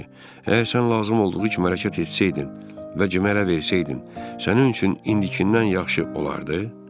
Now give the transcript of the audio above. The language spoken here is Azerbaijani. Əgər sən lazım olduğu kimi hərəkət etsəydin və cürə elə versəydin, sənin üçün indikinndən yaxşı olardı?